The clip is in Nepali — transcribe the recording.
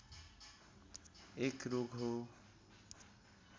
एक रोग हो